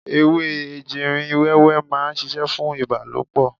Ewé ejìrìn wẹ́wẹ́ ma ń ṣiṣẹ́ fún ìbálòpọ̀.